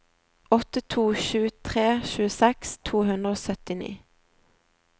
åtte to sju tre tjueseks to hundre og syttini